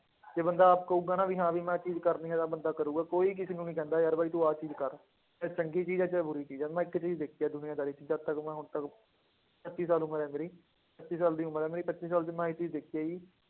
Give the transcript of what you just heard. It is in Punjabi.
ਜੇ ਬੰਦਾ ਆਪ ਕਹੇਗਾ ਨਾ ਵੀ ਹਾਂ ਵੀ ਮੈਂ ਇਹ ਚੀਜ਼ ਕਰਨੀ ਹੈ ਤਾਂ ਬੰਦਾ ਕਰੇਗਾ, ਕੋਈ ਕਿਸੇ ਨੂੰ ਨੀ ਕਹਿੰਦਾ ਯਾਰ ਬਾਈ ਤੂੰ ਆਹ ਚੀਜ਼ ਕਰ, ਚਾਹੇ ਚੰਗੀ ਚੀਜ਼ ਹੈ ਚਾਹੇ ਬੁਰੀ ਚੀਜ਼ ਹੈ, ਮੈਂ ਇੱਕ ਚੀਜ਼ ਦੇਖੀ ਹੈ ਦੁਨੀਆਦਾਰੀ ਚ, ਜਦ ਤੱਕ ਮੈਂ ਹੁਣ ਤੱਕ ਪੱਚੀ ਸਾਲ ਉਮਰ ਹੈ ਮੇਰੀ ਪੱਚੀ ਸਾਲ ਦੀ ਉਮਰ ਹੈ ਮੇਰੀ, ਪੱਚੀ ਸਾਲ ਚ ਮੈਂ ਇਹ ਚੀਜ਼ ਦੇਖੀ ਆ ਕਿ